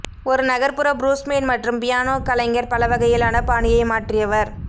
ஒரு நகர்ப்புற ப்ளூஸ்மேன் மற்றும் பியானோ கலைஞர் பல வகையிலான பாணியை மாற்றியவர்